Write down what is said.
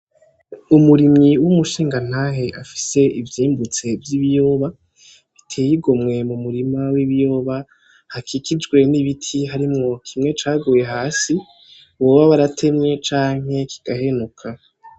Umurimyi w'umushingatahe afise ivyimbutse vy'ibiyoba bitey'igomwe mu murima w'ibiyoba hakikijwe n'ibiti harimwo kimwe caguye hasi boba baratemye canke kigahenuka.